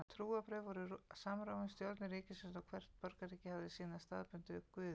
Trúarbrögð voru samofin stjórnun ríkisins og hvert borgríki hafði sína staðbundnu guði.